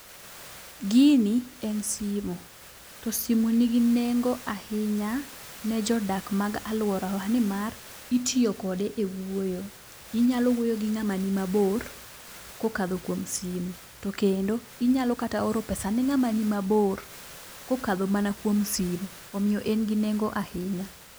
Gini e simo ,to simo nigi nengo ahinya ne jodak mag aluorawa nimar itiyo kode e wuoyo . Inyalo wuoyo gi ng'ama ni mabor kokadho kuom simo to kendo, inyalo kata oro pesa ne ng'ama ni mabor kokadho mana kuom simo, omiyo en gi nengo ahinya.